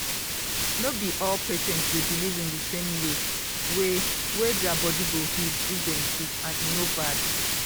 no be all patient dey believe in di same way way wey dia body go heal if dem sick and e no bad.